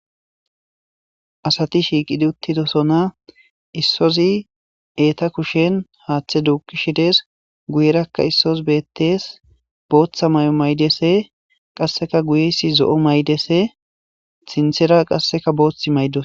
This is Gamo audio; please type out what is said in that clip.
Asati shiqqidi uttidosona issozi eetta kushshen haththa duuqqishe dessi guyeraka issozi bettes booththa mayo mayidayse qasseka guyeysi zo'o mayides sinthera qasse boththi mayidosona.